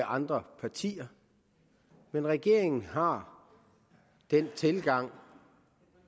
andre partier men regeringen har den tilgang